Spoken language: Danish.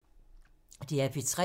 DR P3